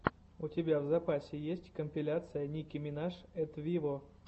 у тебя в запасе есть компиляция ники минаж эт виво